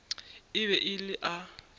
e be e le a